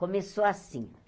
Começou assim.